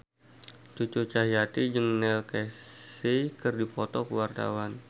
Cucu Cahyati jeung Neil Casey keur dipoto ku wartawan